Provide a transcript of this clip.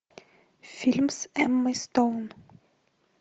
фильм с эммой стоун